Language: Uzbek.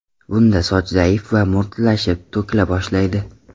Bunda soch zaif va mo‘rtlashib, to‘kila boshlaydi.